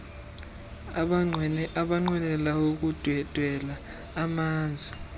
abanqwenela ukundwendwela umzantsi